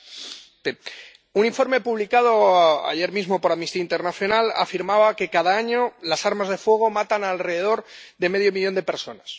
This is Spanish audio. Señor presidente, un informe publicado ayer mismo por Amnistía Internacional afirmaba que, cada año, las armas de fuego matan a alrededor de medio millón de personas.